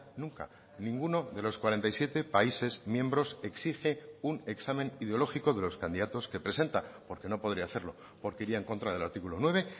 nunca ninguno de los cuarenta y siete países miembros exige un examen ideológico de los candidatos que presenta porque no podría hacerlo porque iría en contra del artículo nueve